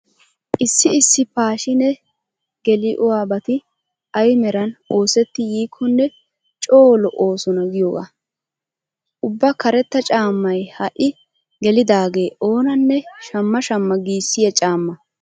Issi issi paashiine geliuabati ay meran oosetti yiikkonne coo lo'oosona giyogaa. Ubba karetta caammay ha"i gelidaagee oonanne shamma shamma giissiya caamma.